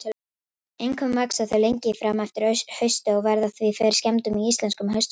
Einkum vaxa þau lengi fram eftir hausti og verða því fyrir skemmdum í íslenskum haustfrostum.